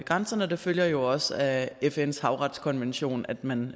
grænserne det følger jo også af fns havretskonvention at man